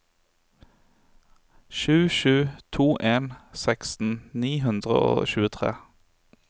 sju sju to en seksten ni hundre og tjuetre